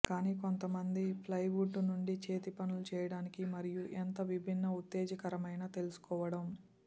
కానీ కొంతమంది ప్లైవుడ్ నుండి చేతిపనుల చేయడానికి మరియు ఎంత విభిన్న ఉత్తేజకరమైన తెలుసుకోవటం